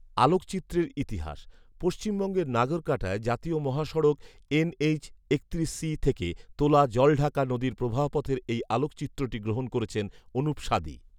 আলোকচিত্রের ইতিহাস, পশ্চিমবঙ্গের নাগরকাটায় জাতীয় মহাসড়ক এনএইচ একত্রিশ সি থেকে তোলা জলঢাকা নদীর প্রবাহপথের এই আলোকচিত্রটি গ্রহণ করেছেন অনুপ সাদি